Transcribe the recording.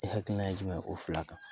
I hakilina ye jumɛn ye o fila kan